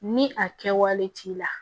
Ni a kɛwale t'i la